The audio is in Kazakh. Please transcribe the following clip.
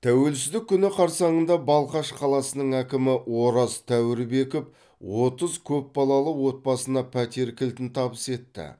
тәуелсіздік күні қарсаңында балқаш қаласының әкімі ораз тәуірбеков отыз көпбалалы отбасына пәтер кілтін табыс етті